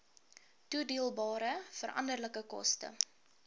toedeelbare veranderlike koste